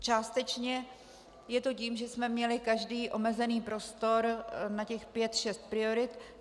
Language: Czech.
Částečně je to tím, že jsme měli každý omezený prostor na těch pět šest priorit.